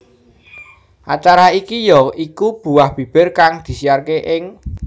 Acara iki ya iku Buah Bibir kang disiyaraké ing